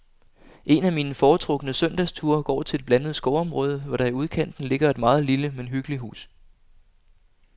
En af mine foretrukne søndagsture går til et blandet skovområde, hvor der i udkanten ligger et meget lille, men hyggeligt hus.